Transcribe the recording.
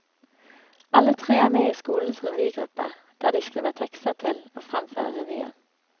Alle tre er med i skolens revygruppe, der de skriver tekster til og fremfører revyen.